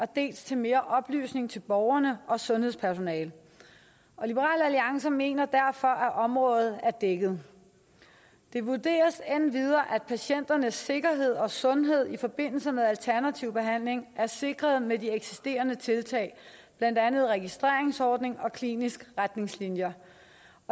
dels til mere oplysning til borgerne og sundhedspersonalet liberal alliance mener derfor at området er dækket det vurderes endvidere at patienternes sikkerhed og sundhed i forbindelse med alternativ behandling er sikret med eksisterende tiltag blandt andet registreringsordning og kliniske retningslinjer